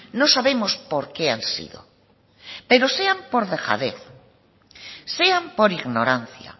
no sabemos por qué han sido pero sean por dejadez sean por ignorancia